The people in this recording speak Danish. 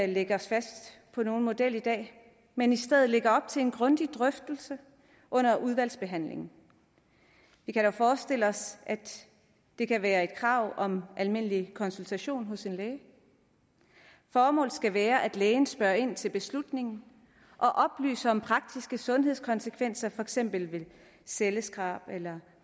lægge os fast på nogen model i dag men i stedet lægge op til en grundig drøftelse under udvalgsbehandlingen vi kan dog forestille os at det kan være et krav om almindelig konsultation hos en læge formålet skal være at lægen spørger ind til beslutningen og oplyser om praktiske sundhedskonsekvenser for eksempel ved celleskrab eller